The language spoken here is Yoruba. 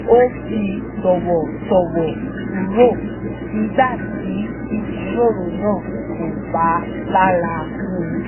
ó fi tọ̀wọ̀tọ̀wọ̀ kúrò nígbà tí ìjíròrò náà kò ba lára mu